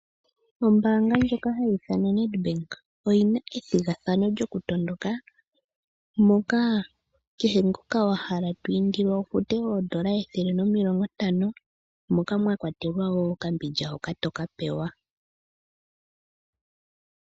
Nedbank oku na ethigathano lyoku tondoka. Kehe ngoka wa hala oku kutha ombinga oto futu oodola ethele nomilongo ntano nomwakwatelwa okambindja hoka toka pewa.